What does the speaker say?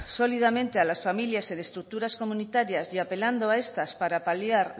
sólidamente a las familias en estructuras comunitarias y apelando a estas para paliar